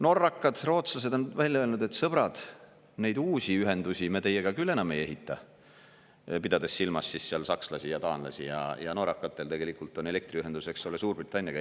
Norrakad, rootslased on välja öelnud, et sõbrad, neid uusi ühendusi me teiega küll enam ei ehita, pidades silmas siis seal sakslasi ja taanlasi, ja norrakatel tegelikult on elektriühendus Suurbritanniaga.